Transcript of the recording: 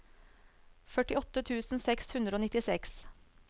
førtiåtte tusen seks hundre og nittiseks